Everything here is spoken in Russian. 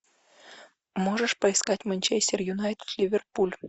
можешь поискать манчестер юнайтед ливерпуль